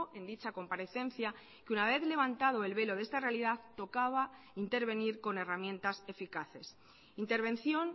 en dicha comparecencia que una vez levantado el velo de esta realidad tocaba intervenir con herramientas eficaces intervención